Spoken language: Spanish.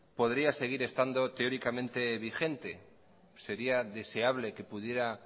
podría seguir estando teóricamente vigente sería deseable que pudiera